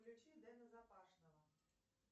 включи дена запашного